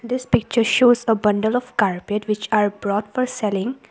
This picture shows a bundle of carpet which are brought for selling.